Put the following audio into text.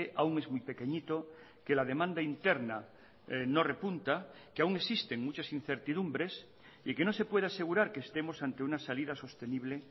aún es muy pequeñito que la demanda interna no repunta que aún existen muchas incertidumbres y que no se puede asegurar que estemos ante una salida sostenible